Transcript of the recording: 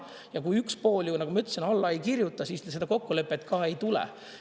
Ja kui üks pool, nagu ma ütlesin, alla ei kirjuta, siis seda kokkulepet ei tule.